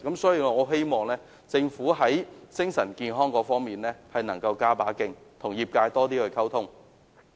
所以，我希望政府在精神健康方面能夠加把勁，與業界加強溝通。